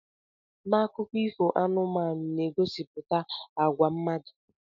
Na akụkọ ifo anụmanụ, anụmanụ na-egosipụta àgwà mmadụ.